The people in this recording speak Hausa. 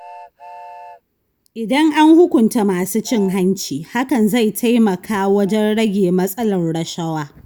Idan an hukunta masu cin hanci, hakan zai taimaka wajen rage matsalar rashawa.